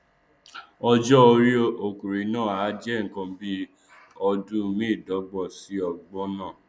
ọjọorí ọkùnrin náà a jẹ nkan bíi ọdún mẹẹẹdọgbọn sí ọgbọn